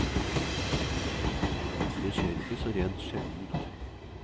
Det skjer ikke så rent sjeldent.